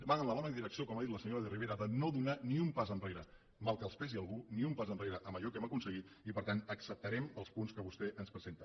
van en la bona direcció com ha dit la senyora de rivera de no donar ni un pas enrere mal que els pesi a alguns ni un pas enrere en allò que hem aconseguit i per tant acceptarem els punts que vostè ens presenta